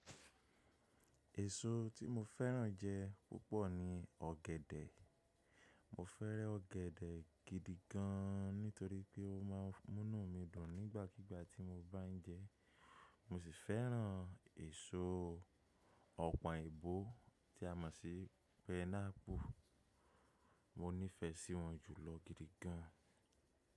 Èso tí mo fẹ́ràn jẹ púpọ̀ ni ọ̀gẹ̀dẹ̀. Mọ fẹ́ràn ọ̀gẹ̀dẹ̀ gidi gan nítorí pé ó ma ń múnú mi dùn nígbàkigbà tí mo bá ń jẹ ẹ́. Mo sì fẹ́ràn èso ọ̀pọ̀n èèbó tí a mọ̀ sí pé pineapple. Mo nífẹsí wọn jùlọ gidi gan.